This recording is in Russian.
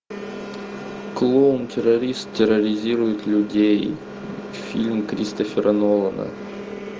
клоун террорист терроризирует людей фильм кристофера нолана